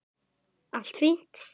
Allt fínt!